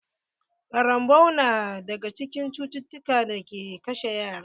Ƙarambau na daga cikin cututtukan da ke kashe yara.